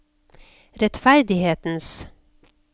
rettferdighetens